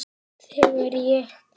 Þegar ég kem á